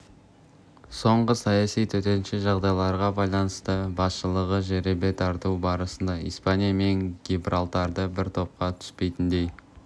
соңғы саяси төтенше жағдайларға байланысты басшылығы жеребе тарту барысында испания мен гибралтарды бір топқа түспейтіндей